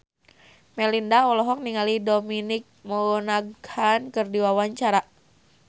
Melinda olohok ningali Dominic Monaghan keur diwawancara